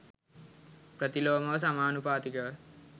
ප්‍රතිලෝමව සමානුපාතිකව